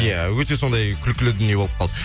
иә өте сондай күлкілі дүние болып қалды